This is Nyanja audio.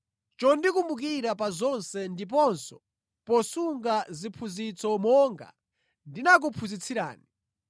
Ndikukuyamikani chifukwa chondikumbukira pa zonse ndiponso posunga ziphunzitso monga ndinakuphunzitsirani.